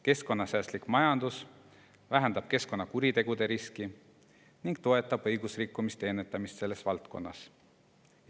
Keskkonnasäästlik majandus vähendab keskkonnakuritegude riski ning toetab õigusrikkumiste ennetamist selles valdkonnas.